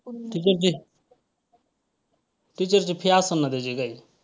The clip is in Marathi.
teacher ची teacher ची fee असलं ना त्याची काही?